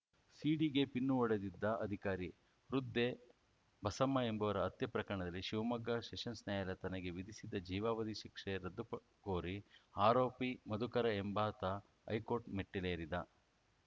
ಸೀಡಿಗೆ pin ಹೊಡೆದಿದ್ದ ಅಧಿಕಾರಿ ವೃದ್ಧೆ ಬಸಮ್ಮ ಎಂಬುವರ ಹತ್ಯೆ ಪ್ರಕರಣದಲ್ಲಿ ಶಿವಮೊಗ್ಗ ಸೆಷನ್ಸ್‌ ನಾಯಾಲಯ ತನಗೆ ವಿಧಿಸಿದ್ದ ಜೀವಾವಧಿ ಶಿಕ್ಷೆ ರದ್ದು ಕೋರಿ ಆರೋಪಿ ಮಧುಕರ ಎಂಬಾತ ಹೈಕೋರ್ಟ್‌ ಮೆಟ್ಟಿಲೇರಿದ್ದ